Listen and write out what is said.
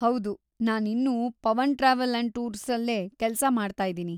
ಹೌದು, ನಾನಿನ್ನೂ Pavan travel and ಟೂರ್ಸಲ್ಲೇ ಕೆಲ್ಸ ಮಾಡ್ತಾಯಿದಿನಿ.